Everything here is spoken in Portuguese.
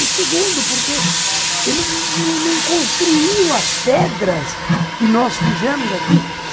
E segundo, porque ele não construiu as pedras que nós fizemos aqui.